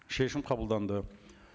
шешім қабылданды